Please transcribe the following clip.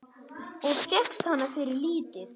Og fékkst hana fyrir lítið!